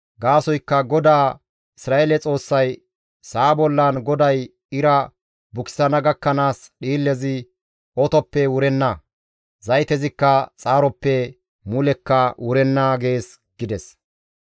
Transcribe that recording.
Gaasoykka GODAA Isra7eele Xoossay, ‹Sa7a bollan GODAY ira bukisana gakkanaas dhiillezi otoppe wurenna; zaytezikka xaaroppe mulekka wurenna› gees» gides.